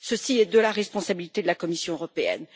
Cela est de la responsabilité de la Commission européenne.